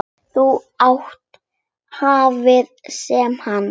Að þú hafir séð hana?